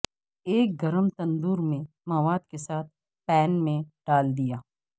ایک گرم تندور میں مواد کے ساتھ پین میں ڈال دیا